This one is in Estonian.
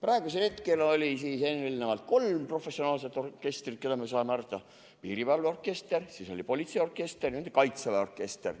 Meil oli kolm professionaalset orkestrit: Piirivalve orkester, Politseiorkester ja Kaitseväe orkester.